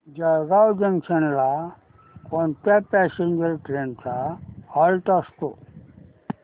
Jalgaon junction ला कोणत्या passenger trains चा हॉल्ट असतो